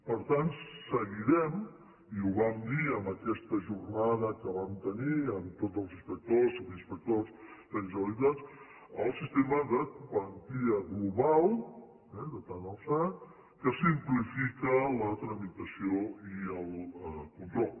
per tant seguirem i ho vam dir en aquesta jornada que vam tenir amb tots els inspectors subinspectors tècnics de la generalitat el sistema de quantia global eh de tant alçat que simplifica la tramitació i el control